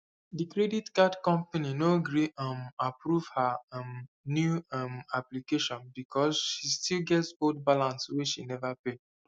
the credit card company no gree um approve her um new um application because she still get old balance wey she never pay